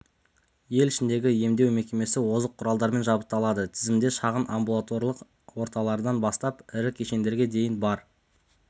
ел ішіндегі емдеу мекемесі озық құралдармен жабдықталады тізімде шағын амбулаторлық орталықтардан бастап ірі кешендерге дейін бар